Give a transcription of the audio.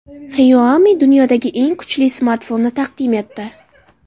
Xiaomi dunyodagi eng kuchli smartfonni taqdim etdi.